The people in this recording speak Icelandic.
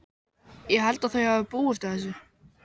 Ég held að þau hafi búist við þessu.